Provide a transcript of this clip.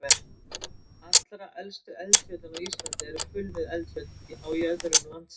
Allra elstu eldfjöllin á Íslandi eru kulnuð eldfjöll á jöðrum landsins.